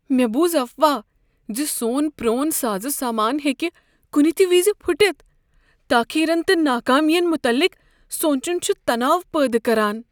مےٚ بوٗز افواہ زِ سون پرون سازٕ سامان ہیٚکہِ کنہِ تہِ وِزِ پھٹِتھ۔ تاخیرن تہٕ ناکٲمین متعلق سونٛچن چھ تناو پٲدٕ كران۔